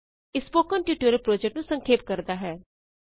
ਇਹ spoken tutorial project ਨੂੰ ਸੰਖੇਪ ਕਰਦਾ ਹੈ